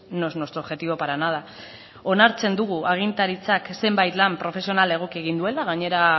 no es nuestro objetivo para nada onartzen dugu agintaritzak zenbait lan profesionala egoki egin duela gainera